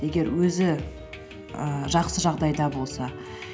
егер өзі ііі жақсы жағдайда болса